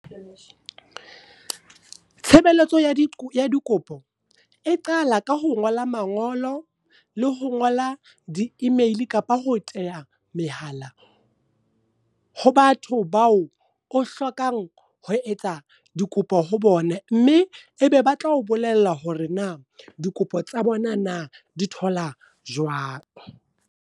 Tshebeletso ya dikopo, e qala ka ho ngola mangolo, le ho ngola di-email kapa ho theha mehala ho batho bao o hlokang ho etsa dikopo ho bone. Mme e be ba tlao bolella hore na dikopo tsa bona na di thola jwang.